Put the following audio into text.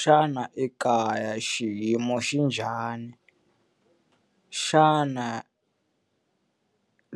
Xana ekaya xiyimo xi njhani? Xana